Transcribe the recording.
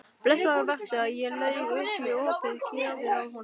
Blessaður vertu, ég laug upp í opið geðið á honum.